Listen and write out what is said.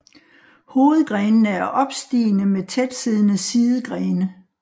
Hovedgrenene er opstigende med tætsiddende sidegrene